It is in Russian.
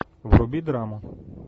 вруби драму